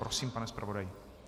Prosím, pane zpravodaji.